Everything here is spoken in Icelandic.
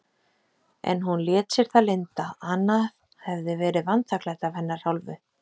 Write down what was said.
En hún lét sér það lynda, annað hefði verið vanþakklæti af hennar hálfu.